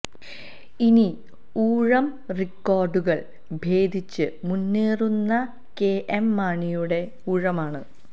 ഇനി ഊഴം റിക്കോർഡുകൾ ഭേദിച്ച് മുന്നേറുന്ന കെഎം മാണിയുടെ ഊഴമാണ്